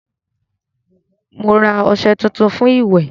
Mo ra ọṣẹ tuntun fún ìwẹ̀